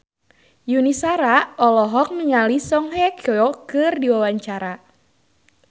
Yuni Shara olohok ningali Song Hye Kyo keur diwawancara